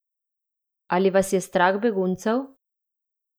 Ali je vas strah beguncev?